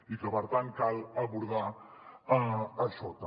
i que per tant cal abordar això també